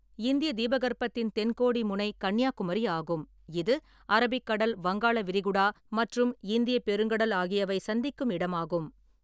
இந்திய தீபகற்பத்தின் தென்கோடி முனை கன்னியாகுமரி ஆகும், இது அரபிக்கடல், வங்காள விரிகுடா மற்றும் இந்தியப் பெருங்கடல் ஆகியவை சந்திக்கும் இடமாகும்.